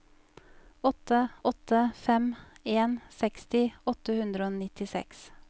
åtte åtte fem en seksti åtte hundre og nittiseks